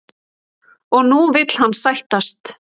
Og nú vill hann sættast?